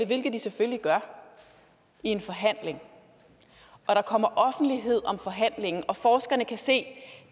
hvilket de selvfølgelig gør i en forhandling og der kommer offentlighed om forhandlingen og forskerne kan se at